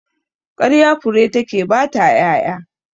Ƙarya fure take baya ƴaƴa